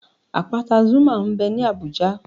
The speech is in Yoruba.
Àpáta Zuma m bẹ ní Abùjá